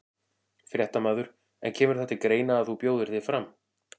Fréttamaður: En kemur það til greina að þú bjóðir þig fram?